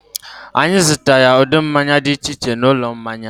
Anyị zụtara ụdị mmanya dị iche iche n'ụlọ mmanya